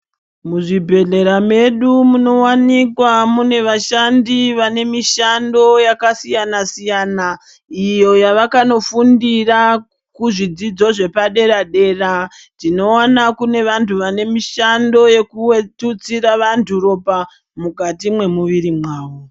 Muzvibhehlera medu munowanikwa mune vashandi vane mishando yakasiyana-siyana iyo yavakanofundira kuzvidzidzo zvepadera-dera. Tinoona kune vantu vanemishando yekututsira vantu ropa mukati mwemuviri mwavo.